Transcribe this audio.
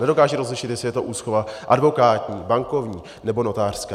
Nedokážou rozlišit, jestli je to úschova advokátní, bankovní nebo notářská.